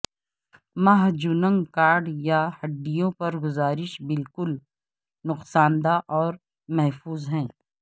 mahjong card یا ہڈیوں پر گزارش بالکل نقصان دہ اور محفوظ ہے